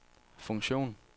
funktion